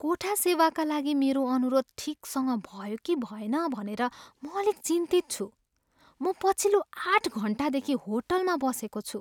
कोठा सेवाका लागि मेरो अनुरोध ठिकसँग भयो कि भएन भनेर म अलिक चिन्तित छु। म पछिल्लो आठ घन्टादेखि होटलमा बसेको छु।